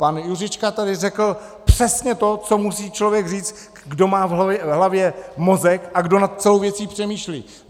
Pan Juříček tady řekl přesně to, co musí člověk říct, kdo má v hlavě mozek a kdo nad celou věcí přemýšlí.